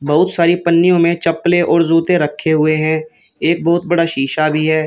बहुत सारी पन्नियों में चप्पलें और जूते रखे हुए हैं एक बहोत बड़ा शीशा भी है।